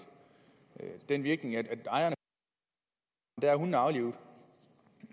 den virkning at ejerne der er hundene aflivet